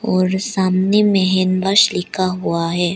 और सामने में हैंड वाश लिखा हुआ है।